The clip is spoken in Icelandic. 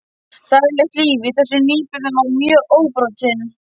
Daglegt líf í þessum nýbyggðum var mjög óbrotið.